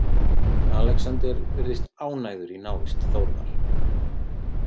Alexander virðist ánægður í návist Þórðar.